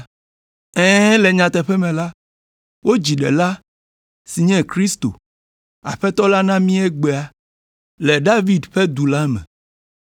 “Ɛ̃, le nyateƒe me la, wodzi ɖela si nye Kristo, Aƒetɔ la na mí egbea le David ƒe du la me.